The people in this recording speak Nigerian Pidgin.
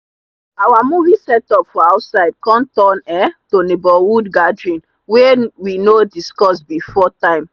our movie setup for outside come turn um to neighborhood gathering wey we no discuss before time.